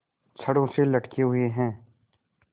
छड़ों से लटके हुए हैं